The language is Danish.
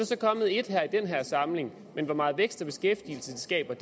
så kommet et i den her samling men hvor meget vækst og beskæftigelse det skaber